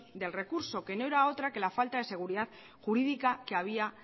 del recurso que no era otra que la falta de seguridad jurídica que había